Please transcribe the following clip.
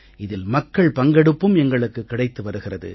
இதில் மக்கள் பங்கெடுப்பும் எங்களுக்குக் கிடைத்து வருகிறது